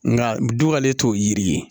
Nka bi k'ale t'o yiri ye